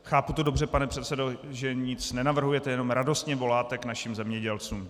Chápu to dobře, pane předsedo, že nic nenavrhujete, jenom radostně voláte k našim zemědělcům.